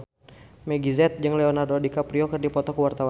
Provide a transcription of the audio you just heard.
Meggie Z jeung Leonardo DiCaprio keur dipoto ku wartawan